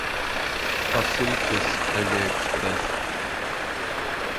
посылки с алиэкспресс